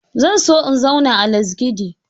Zan so in zauna a Lasgidi.